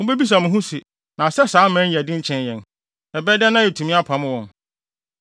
Mubebisa mo ho se, “Na sɛ saa aman yi yɛ den kyɛn yɛn. Ɛbɛyɛ dɛn na yɛatumi apam wɔn?”